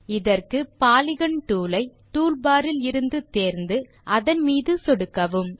இதற்கு polygon tool ஐ tool bar இலிருந்து தேர்ந்து அதன் மீது சொடுக்கவும்